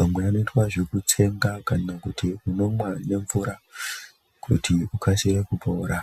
,amwe anoita zvekutsenga kana kuti unomwa nemvura kuti ukasire kupora.